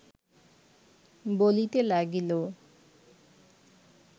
বলিতে লাগিল